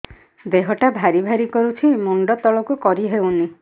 ଦେହଟା ଭାରି ଭାରି କରୁଛି ମୁଣ୍ଡ ତଳକୁ କରି ହେଉନି